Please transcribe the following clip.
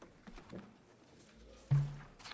det er